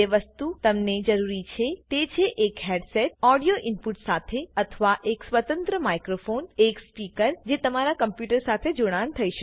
જે વસ્તુ તમને જરૂર છે તે છે એક હેડસેટ ઓડિયો ઈનપુટ સાથે અથવા એક સ્વતંત્ર માઈક્રોફોન એક સ્પીકર જે કે તમારા કમ્પુટર સાથે જોડાણ થયી શકે